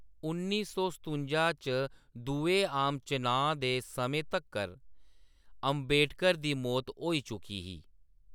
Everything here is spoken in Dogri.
उन्नी सौ सतुंजा च दुए आम चुनांऽ दे समें तक्कर अंबेडकर दी मौत होई चुकी ही।